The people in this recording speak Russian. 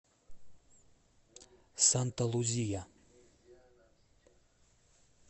санта лузия